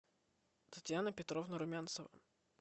татьяна петровна румянцева